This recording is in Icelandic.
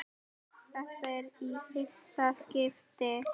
Þetta er í fyrsta skipti.